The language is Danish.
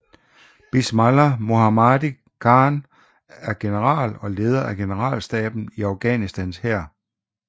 Bismillah Mohammadi Khan er General og leder af generalstaben i Afghanistans hær